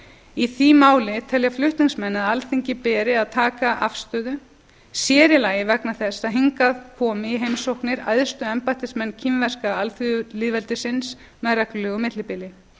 í því máli telja flutningsmenn að alþingi beri að taka afstöðu sér í lagi vegna þess að hingað koma í heimsóknir æðstu embættismenn kínverska alþýðulýðveldisins með reglulegu millibili